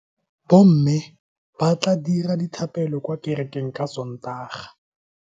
Bomme ba tla dira dithapelo kwa kerekeng ka Sontaga.